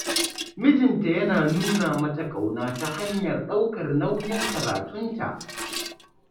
Mijinta ya nuna mata ƙauna ta hanyar ɗaukar nauyin karatunta